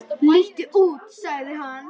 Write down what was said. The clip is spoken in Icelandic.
Líttu út sagði hann.